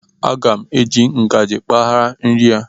Aga m eji ngajị kpagha nri a